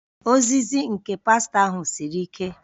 Ozizi nke pastọ ahụ siri ike